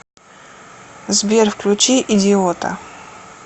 сбер включи идиота